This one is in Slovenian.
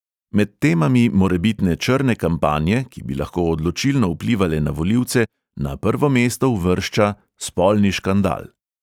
Med temami morebitne "črne kampanje", ki bi lahko odločilno vplivale na volivce, na prvo mesto uvršča – spolni škandal.